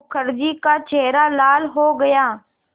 मुखर्जी का चेहरा लाल हो गया